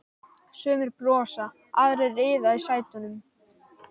Sumir brosa, aðrir iða í sætunum.